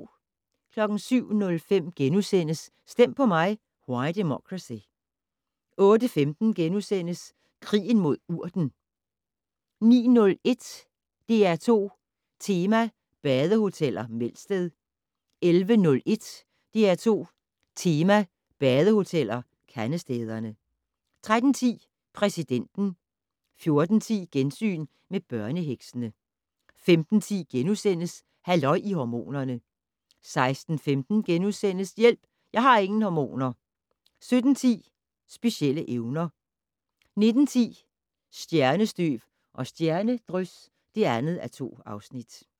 07:05: Stem på mig - Why Democracy? * 08:15: Krigen mod urten * 09:01: DR2 Tema: Badehoteller - Melsted 11:01: DR2 Tema: Badehoteller - Kandestederne 13:10: Præsidenten 14:10: Gensyn med børneheksene 15:10: Halløj i hormonerne * 16:15: Hjælp, jeg har ingen hormoner! * 17:10: Specielle evner 19:10: Stjernestøv og stjernedrys (2:2)